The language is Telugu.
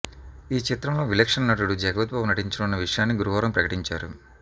ఈ చిత్రంలో విలక్షణ నటుడు జగపతిబాబు నటించనున్న విషయాన్ని గురువారం ప్రకటించారు